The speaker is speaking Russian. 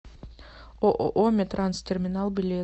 ооо меттранстерминал билет